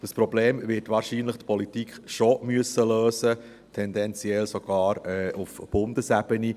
Dieses Problem wird die Politik wahrscheinlich schon lösen müssen, tendenziell sogar auf Bundesebene.